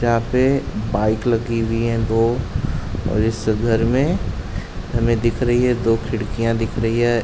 यह पे बाइक लगी हुई है दो और इस घर में हमें दिख रही हैं दो खिड़कियाँ दिख रही है।